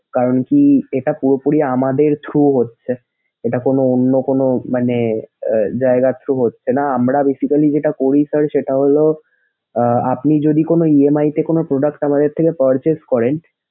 কারণ কি এটা পুরোপুরি আমাদের throw হচ্ছে। এটা কোন অন্য কোন মানে আহ যায়গার throw হচ্ছে না। আমরা basically যেটা করি sir সেটা হলো আহ আপনি যদি কোন EMI তে কোন product আমাদের থেকে purchase করেন।